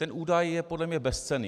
Ten údaj je podle mě bezcenný.